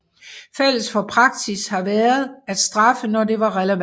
Fælles for praksis har været at straffe når det var relevant